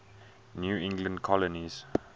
new england colonies